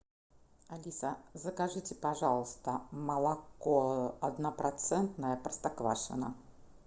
алиса закажите пожалуйста молоко однопроцентное простоквашино